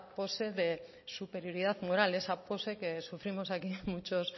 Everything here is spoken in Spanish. pose de superioridad moral esa pose que sufrimos aquí muchos